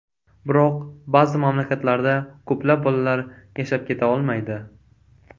Biroq ba’zi mamlakatlarda ko‘plab bolalar yashab keta olmaydi.